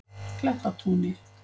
Klettatúni